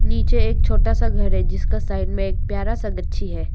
नीचे एक छोटा सा घर है जिसका साइड में एक प्यारा सा गच्छी है।